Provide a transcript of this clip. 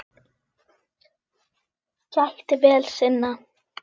Gætti vel sinna.